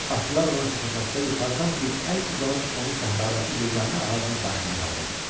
Atlılar ona çata-çatdı, yuxarıdan bir əl uzanıb onu səhradakı yeganə ağacın başına qaldırdı.